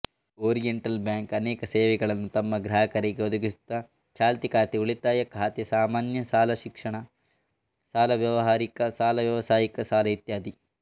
oriental Bank ಅನೇಕ ಸೇವೆಗಳನ್ನು ತಮ್ಮ ಗ್ರಾಹಕರಿಗೆ ಒದಗಿಸುತ್ತದೆಛಾಲ್ತಿ ಖಾತೆಉಳಿತಾಯ ಖಾತೆಸಾಮಾನ್ಯ ಸಾಲಶಿಕ್ಷಣ ಸಾಲ ವ್ಯವಾಹಾರಿಕ ಸಾಲವ್ಯವಸಾಯಿಕ ಸಾಲ ಇತ್ಯಾದಿ